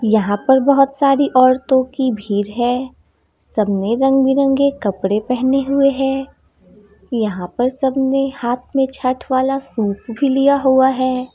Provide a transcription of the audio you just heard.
यहां पर बहुत सारी औरतों की भीड़ है सबने रंग-बिरंगे कपड़े पहने हुए है यहां पे सब ने हाथ में छठ वाला सूप भी लिया हुआ है।